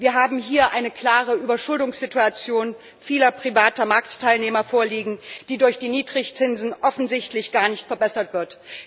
Wir haben hier eine klare Überschuldungssituation vieler privater Marktteilnehmer vorliegen, die durch die Niedrigzinsen offensichtlich gar nicht verbessert wird.